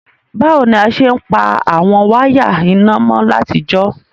Bàwoni a se n pa àwon wire iná mo látijọ́?